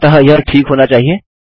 अतः यह ठीक होना चाहिए